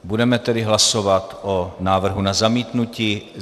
Budeme tedy hlasovat o návrhu na zamítnutí.